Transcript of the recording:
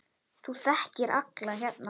Þú þekkir alla hérna.